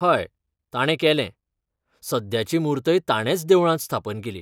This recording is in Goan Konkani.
हय ताणें केलें, सद्याची मूर्तय ताणेंच देवळांत स्थापन केली.